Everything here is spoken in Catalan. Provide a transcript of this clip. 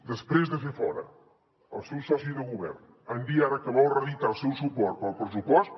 després de fer fora el seu soci de govern en dir ara que vol reeditar el seu suport per al pressupost